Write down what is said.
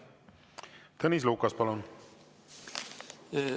Tõnis Lukas, palun!